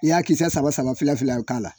I y'a kisɛ saba saba k'a la